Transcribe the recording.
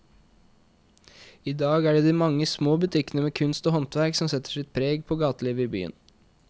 I dag er det de mange små butikkene med kunst og håndverk som setter sitt preg på gatelivet i byen.